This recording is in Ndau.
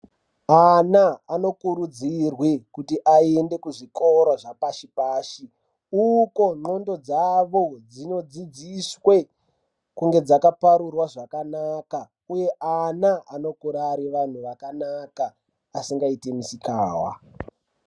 Ana anokurudzirwe kuti aende kuzvikora zvepashi-pashi. Uko ndxondo dzavo dzinodzidziswe kunge dzakaparurwa zvakanaka, uye ana anokura ari antu akanaka asingaiti misikahwa.